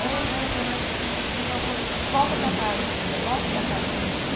Aí eu andando na norte-sul, assim, ela falou, volta para casa, filha, volta para cá.